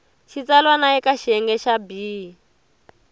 xitsalwana eka xiyenge xa b